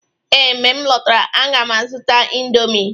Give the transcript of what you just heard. Ee, mgbe m lọtara, a ga m azụta indomie